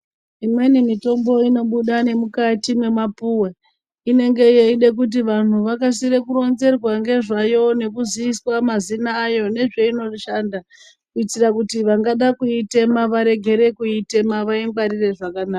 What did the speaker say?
Imweni mitombo inobuda nemukati mwemapuwe inenge yeida kuti vantu vskasike kuronzerwa ngezvayo nekuziizwa mazina ayo nezvainoshanda kuitira kuti vangada kuitema vairegere kuitema vaingwarire zvakanaka.